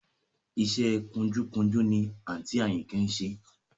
Iṣẹ́ ẹ kunjúkunjú ni àǹtí Àyìnkẹ́ ń ṣe